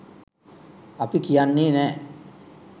අපි කියන්නේ නෑ